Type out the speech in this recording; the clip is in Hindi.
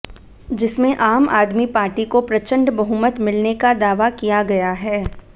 जिसमें आम आदमी पार्टी को प्रचंड बहुमत मिलने का दावा किया गया है